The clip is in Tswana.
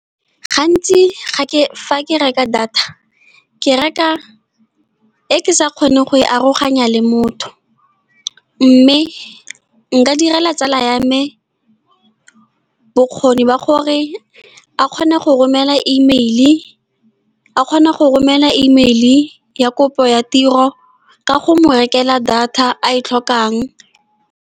Gantsi fa ke reka data, ke reka e ke sa kgoneng go e aroganya le motho. Mme nka direla tsala ya me bokgoni ba gore a kgone go romela email, ya kopo ya tiro, ka go mo rekela data a e tlhokang.